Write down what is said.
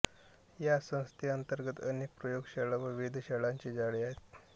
या संस्थेअंतर्गत अनेक प्रयोगशाळा व वेधशाळांचे जाळे आहे